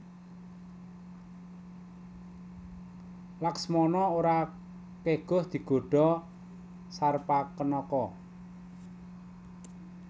Laksmana ora keguh digodha Sarpakenaka